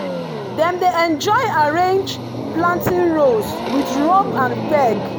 dem dey enjoy arrange planting rows with rope and peg.